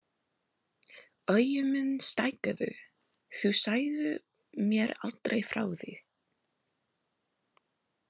Augu mín stækkuðu: Þú sagðir mér aldrei frá því!